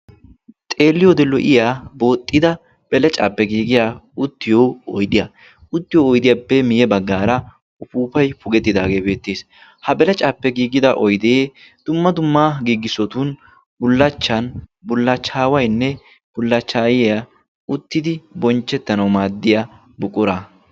xeeliyoode lo''iyaa booxxida belecaappe giigiya uttiyo oidiya uttiyo oydiyaappe miye baggaara ufuufay pugettidaagee beettiis ha belacaappe giigida oidee dumma dumma giigissotun bullachchan bullachchaawainne bullachchaayiya uttidi bonchchettanau maaddiya buqura